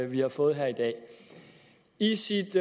vi har fået her i dag i sit